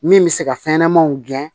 Min bɛ se ka fɛn ɲɛnɛmanw gɛn